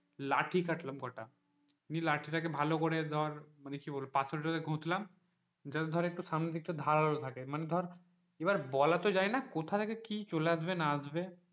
লাঠি কাটলাম কটা নিয়ে লাঠিটাকে ভালো করে ধর মানে পাথর টাকে ঘষলাম just ধর জানো সামনে দিকটা ধরে একটু ধরালো থাকে বলা তো যাইও না কথা কি চলে আসে।